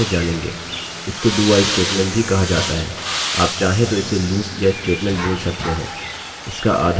इसको dowhile statement भी कहा जाता है आप चाहें तो इसे लूपloop या स्टेटमेंटstatement बोल सकते हैं